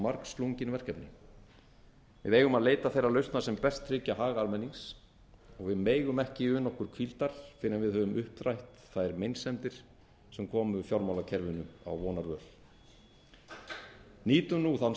margslungin verkefni við eigum að leita þeirra lausna sem best tryggja hag almennings við megum ekki una okkur hvíldar fyrr en við höfum upprætt þær meinsemdir sem komu fjármálakerfinu á vonarvöl nýtum nú þann